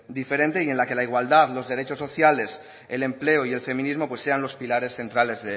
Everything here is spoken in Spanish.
diferente y en la que la igualdad los derechos sociales el empleo y el feminismo sean los pilares centrales